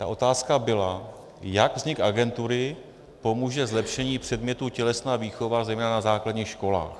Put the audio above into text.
Ta otázka byla, jak vznik agentury pomůže zlepšení předmětu tělesná výchova zejména na základních školách.